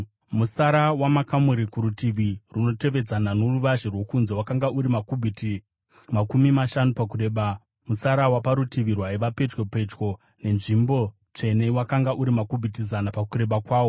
Mutsara wamakamuri kurutivi runotevedzana noruvazhe rwokunze wakanga uri makubhiti makumi mashanu pakureba, mutsara waparutivi rwaiva pedyo pedyo nenzvimbo tsvene wakanga una makubhiti zana pakureba kwawo.